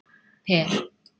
Per